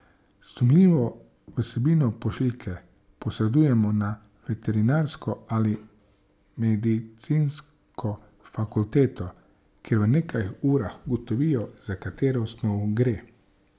Sumljivo vsebino pošiljke posredujemo na veterinarsko ali medicinsko fakulteto, kjer v nekaj urah ugotovijo, za katero snov gre.